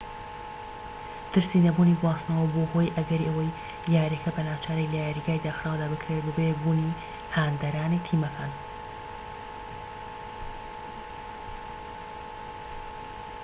ترسی نەبوونی گواستنەوە بووە هۆی ئەگەری ئەوەی یاریەکە بە ناچاری لە یاریگاری داخراودا بکرێت بەبێ بوونی هاندەرانی تیمەکان